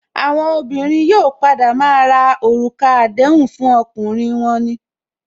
Àwọn obìnrin yóò padà maa ra orúkọ àdéhùn fún ọkùnrin wọn ni